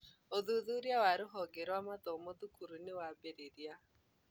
Uthuthuria wa rũhonge rũa mathomo thukuru niwambĩrĩria.